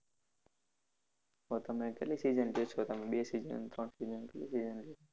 તો તમે કેટલી season લ્યો છો તમે બે season ત્રણ season કેટલી season?